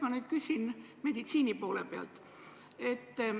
Ma nüüd küsin meditsiini poole pealt.